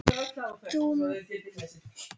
Ert þú með rétta nafnið?